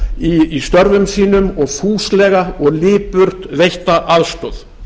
okkar í störfum sínum og fúslega og lipurt veitta aðstoð